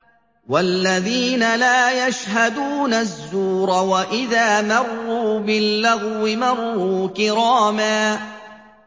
وَالَّذِينَ لَا يَشْهَدُونَ الزُّورَ وَإِذَا مَرُّوا بِاللَّغْوِ مَرُّوا كِرَامًا